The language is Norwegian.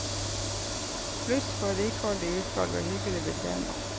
Pluss for rikholdig utvalg og hyggelig betjening.